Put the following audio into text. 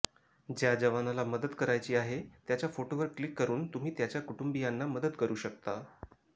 ज्या जवानाला मदत करायची आहे त्याच्या फोटोवर क्लिक करुन तुम्ही त्याच्या कुटुंबियांना मदत करु शकता